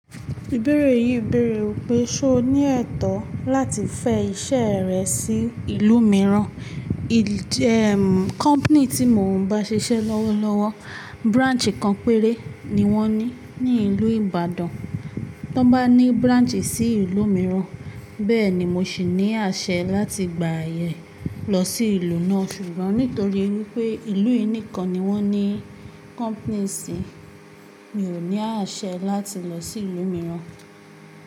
Ìbéèrè yìí bèèrè wípé, ṣé o ní ẹ̀tọ́ láti fẹ́ iṣẹ́ rẹ sí ìlú mìíràn? Ee, kọ̀mpanì tí mo ń bá ṣiṣẹ́ lọ́wọ́lọ́wọ́, branch kan péré ni wọ́n ní ní ìlú Ìbàdàn. Tí wọ́n bá ní branch sí ìlú mìíràn, bẹ́ẹ̀ ni mo sì ní àṣẹ láti gba àyè lọ sí ìlú náà. Ṣùgbọ́n nítorí wípé ìlú yìí nìkan ni wọ́n ní kọ̀mpanì sí, mi ò ní àṣẹ láti lọ sí ìlú mìíràn.